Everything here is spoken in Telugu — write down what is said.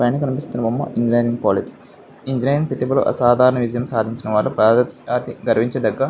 పైన కనిపిస్తున్న బొమ్మ ఇంజనీరింగ్ కాలేజ్ . ఇంజనీరింగ్ ప్రతిభలో అసాధారణ విజయం సాధించిన వాళ్ళు గర్వించ దగ్గ--